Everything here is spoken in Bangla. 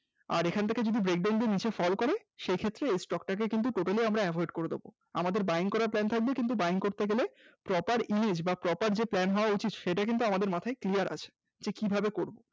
আর এখান থেকে যদি break down দিয়ে নিচে fall করে সে ক্ষেত্রে এই stock টাকে কিন্তু Totally আমরা avoid করে দেবো, আমাদের Buying করার plan থাকবে কিন্তু Buying করতে গেলে Proper Image বা proper যে plan হওয়া উচিত সেটা কিন্তু আমাদের মাথায় clear আছে কিভাবে করব